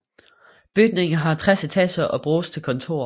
Bygningen har 60 etager og bruges til kontorer